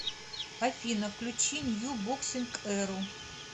афина включи нью боксинг эру